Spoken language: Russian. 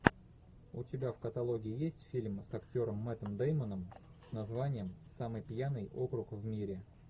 у тебя в каталоге есть фильм с актером мэттом дэймоном с названием самый пьяный округ в мире